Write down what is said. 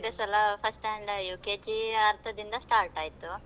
ಒಂದೇ ಸಲ first standard , UKG ಅರ್ಧದಿಂದ start ಆಯ್ತು.